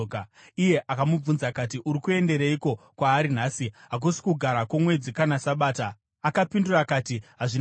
Iye akamubvunza akati, “Uri kuendereiko kwaari nhasi? Hakusi Kugara kwoMwedzi kana Sabata.” Akapindura akati, “Hazvina mhosva.”